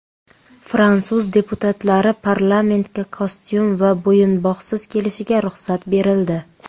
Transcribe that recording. Fransuz deputatlari parlamentga kostyum va bo‘yinbog‘siz kelishiga ruxsat berildi .